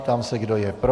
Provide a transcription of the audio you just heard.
Ptám se, kdo je pro.